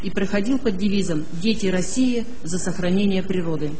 и проходил под девизом дети россии за сохранение природы